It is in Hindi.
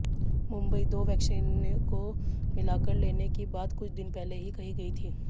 मुंबईः दो वैक्सीनों को मिलाकर लेने की बात कुछ दिन पहले ही कही गयी थी